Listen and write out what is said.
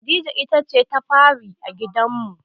Khadija ita ce ta fari a gidanmu.